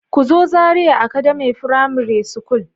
Ku zo Zaria academy frimare school.